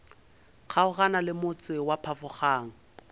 kgaogana le motse wa phafogang